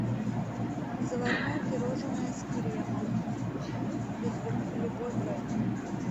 заварное пирожное с кремом любой бренд